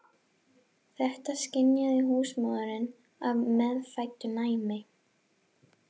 Þetta skynjaði húsmóðirin af meðfæddu næmi.